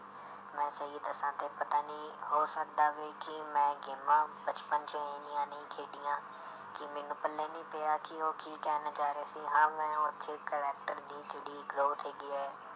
ਮੈਂ ਸਹੀ ਦੱਸਾਂ ਤੇ ਪਤਾ ਨੀ ਹੋ ਸਕਦਾ ਵੀ ਕਿ ਮੈਂ ਗੇਮਾਂ ਬਚਪਨ 'ਚ ਇੰਨੀਆਂ ਨਹੀਂ ਖੇਡੀਆਂ ਕਿ ਮੈਨੂੰ ਪੱਲੇ ਨੀ ਪਿਆ ਕਿ ਉਹ ਕੀ ਕਹਿਣਾ ਚਾਹ ਰਿਹਾ ਸੀ ਹਾਂ ਮੈਂ ਉਹ 'ਚ character ਦੀ ਜਿਹੜੀ growth ਹੈਗੀ ਹੈ